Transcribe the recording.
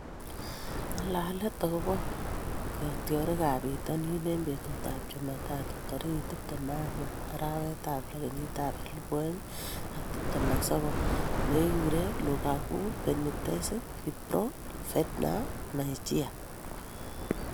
Ng'alalet akobo kitiorikab bitonin eng betutab Jumatatu tarik tiptem ak ang'wan, arawetab lo, kenyitab elebu oeng ak tiptem ak sokol: Maguire, Lukaku, Benitez, Firpo, Fernandes, Mejia